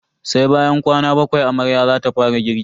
Sai bayan kwana bakwai amarya zata fara girki.